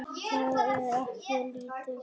Það er ekki lítið.